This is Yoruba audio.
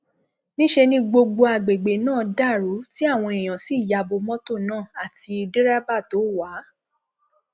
níṣẹ ni gbogbo àgbègbè náà dàrú tí àwọn èèyàn sì ya bo mọtò náà àti dẹrẹbà tó wà á